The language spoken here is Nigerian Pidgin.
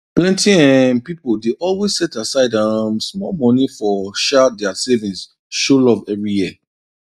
plenty um pipo dey always set aside um small money from um dia savings show love every year